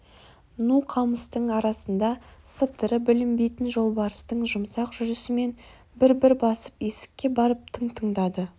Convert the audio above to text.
ну қамыстың арасында сыбдыры білінбейтін жолбарыстың жұмсақ жүрісімен бір-бір басып есікке барып тың тыңдады